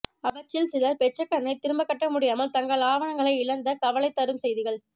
அவற்றில் சிலர் பெற்ற கடனை திரும்பக் கட்ட முடியாமல் தங்கள் ஆதனங்களை இழந்த கவலை தரும் செய்திகள்